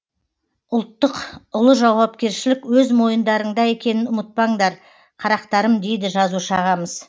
ұлттық ұлы жауапкершілік өз мойындарыңда екенін ұмытпаңдар қарақтарым дейді жазушы ағамыз